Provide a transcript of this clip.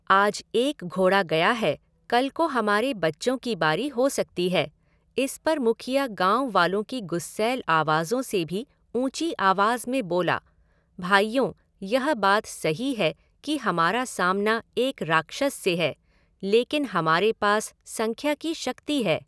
आज एक घोड़ा गया है, कल को हमारे बच्चों की बारी हो सकती है, इस पर मुखिया गाँव वालों की गुस्सैल आवाज़ों से भी ऊँची आवाज़ में बोला, भाइयों, यह बात सही है कि हमारा सामना एक राक्षस से है, लेकिन हमारे पास संख्या की शक्ति है।